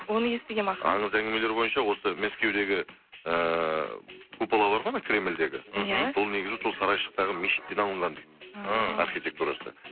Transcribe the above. оны естігенмін аңыз әңгімелер бойынша осы мәскеудегі ыыы купола бар ғой анау кремльдегі сол негізі сол сарайшықтағы мешіттен алынған дейді ммм архитектурасы